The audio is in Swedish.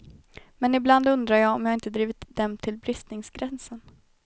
Men ibland undrar jag om jag inte drivit dem till bristningsgränsen.